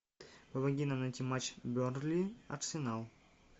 помоги нам найти матч бернли арсенал